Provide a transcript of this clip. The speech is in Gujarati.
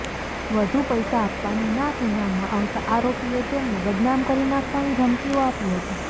વધુ પૈસા આપવાની ના કહેવામાં આવતાં આરોપીએ તેમને બદનામ કરી નાખવાની ધમકીઓ આપી હતી